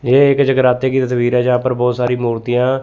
ये एक जगराते की तस्वीर है जहां पर बहोत सारी मूर्तियां--